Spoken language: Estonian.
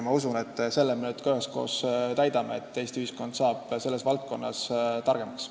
Ma usun, et selle eesmärgi me üheskoos täidame, Eesti ühiskond saab selles valdkonnas targemaks.